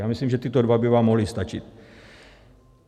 Já myslím, že tyto dva by vám mohly stačit.